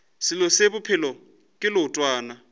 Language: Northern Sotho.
selo se bophelo ke leotwana